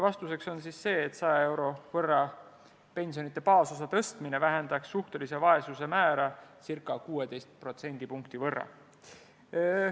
Vastus oli, et pensioni baasosa 100 euro võrra tõstmine vähendaks suhtelise vaesuse määra 16 protsendipunkti võrra.